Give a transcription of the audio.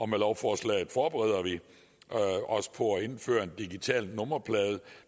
med lovforslaget forbereder vi os på at indføre en digital nummerplade